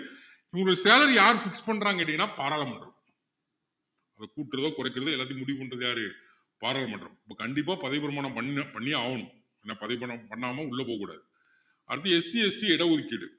இவங்க salary அ யாரு fix பண்றாங்கன்னு கேட்டீங்கன்னா பாராளுமன்றம் இப்போ கூட்டுறதோ குறைக்கிறதோ எல்லாத்தையும் முடிவு பண்றது யாரு பாராளுமன்றம் அப்போ கண்டிப்பா பதவிப்பிரமாணம் பண்ணி~பண்ணியே ஆகணும் ஆனா பதவிப்பிரமாணம் பண்ணாம உள்ள போக கூடாது அடுத்து SCST இட ஒதுக்கீடு